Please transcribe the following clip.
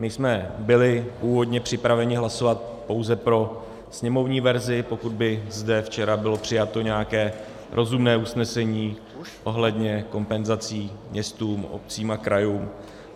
My jsme byli původně připraveni hlasovat pouze pro sněmovní verzi, pokud by zde včera bylo přijato nějaké rozumné usnesení ohledně kompenzací městům, obcím a krajům.